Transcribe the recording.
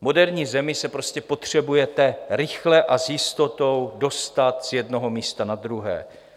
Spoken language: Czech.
V moderní zemi se prostě potřebujete rychle a s jistotou dostat z jednoho místa na druhé.